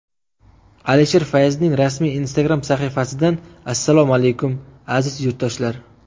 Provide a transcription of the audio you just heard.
Alisher Fayzning rasmiy Instagram sahifasidan Assalomu alaykum, aziz yurtdoshlar!